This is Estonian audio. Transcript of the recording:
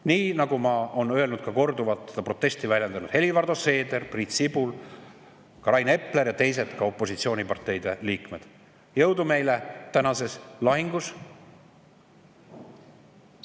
Nii nagu ma olen öelnud ja on öelnud ka korduvalt protesti väljendanud Helir-Valdor Seeder, Priit Sibul, Rain Epler ja teisedki opositsiooniparteide liikmed: jõudu meile tänases lahingus!